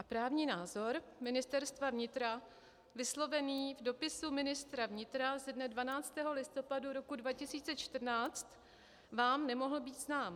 A právní názor Ministerstva vnitra vyslovený v dopisu ministra vnitra ze dne 12. listopadu roku 2014 vám nemohl být znám.